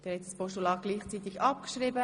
Sie haben dieses Postulat abgeschrieben.